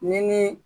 Ni ni